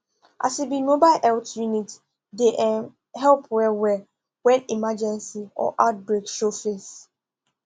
as e be mobile health unit deyum help wellwell when emergency or outbreak show face